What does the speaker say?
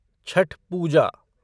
Chhath Puja